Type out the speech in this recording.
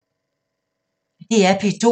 DR P2